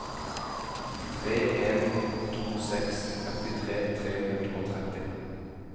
tre en to seks femtitre tre hundre og tretti